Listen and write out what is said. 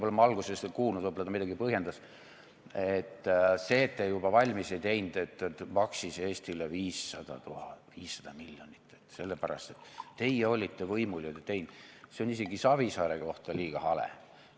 Ma algust ei kuulnud, võib-olla ta midagi põhjendas, aga see, et te juba valmis ei teinud, maksis Eestile 500 miljonit, sellepärast, et teie olite võimul, aga ei teinud, on isegi Savisaare kohta liiga hale.